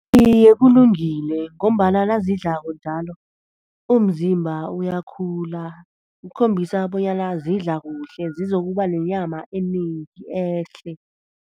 Iye, kulungile ngombana nazidlako njalo umzimba uyakhula, ukukhombisa bonyana zidla kuhle, zizokuba nenyama enengi, ehle.